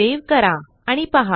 save करा आणि पहा